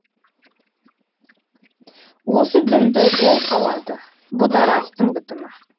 осы дінді ол қалады бұ да растың бітімі